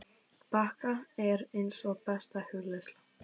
bakka er eins og besta hugleiðsla.